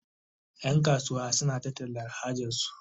Yan kasuwa suna ta tallan hajarsu